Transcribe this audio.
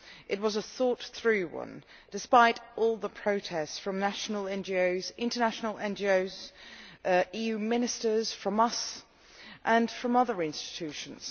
It was a thought through one, despite all the protests from national NGOs, international NGOs, EU Ministers, from us and from other institutions.